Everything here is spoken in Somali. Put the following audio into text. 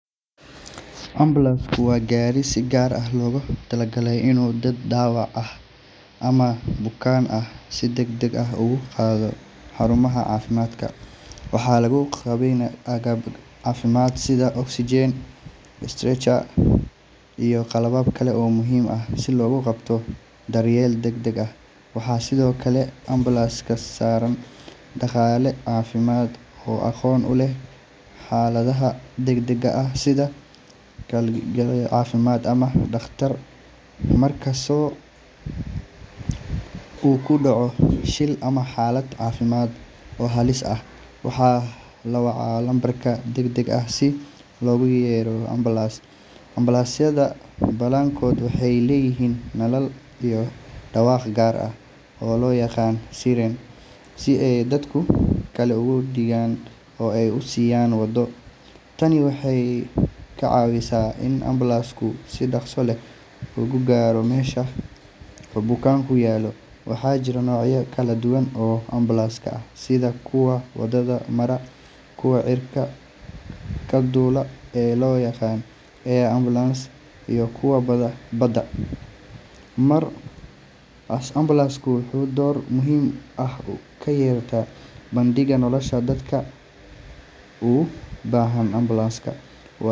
Ambalaasku waa gaari si gaar ah loogu talagalay inuu dad dhaawac ah ama bukaan ah si degdeg ah ugu qaado xarumaha caafimaadka. Waxaa lagu qalabeeyaa agab caafimaad sida oxygen, stretcher, iyo qalab kale oo muhiim ah si loogu qabto daryeel degdeg ah. Waxaa sidoo kale ambalaaska saaran shaqaale caafimaad oo aqoon u leh xaaladaha degdega ah sida kalkaaliye caafimaad ama dhaqtar. Marka qof uu ku dhaco shil ama xaalad caafimaad oo halis ah, waxaa la wacaa lambarka degdega ah si loogu yeero ambalaas. Ambalaasyada badankood waxay leeyihiin nalal iyo dhawaaq gaar ah oo loo yaqaan siren, si ay dadka kale uga digaan oo ay u siiyaan waddo. Tani waxay ka caawisaa in ambalaasku si dhaqso leh u gaaro meesha bukaanku yaallo. Waxaa jira noocyo kala duwan oo ambalaas ah, sida kuwa wadada mara, kuwa cirka ka duula ee loo yaqaan air ambulance, iyo kuwa badda mara. Ambalaasku wuxuu door muhiim ah ka ciyaaraa badbaadinta nolosha dadka. Dadka u baahan ambalaas.